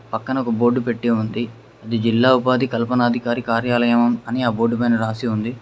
పక్కన ఒక బోర్డు పెట్టి ఉంది అది జిల్లా ఉపాధి కల్పనాధికారి కార్యాలయం అని ఆ బోర్డు పైన రాసి ఉంది